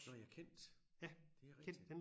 Nårh ja Kent det rigtigt